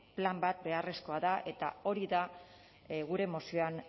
plan bat beharrezkoa da eta hori da gure mozioan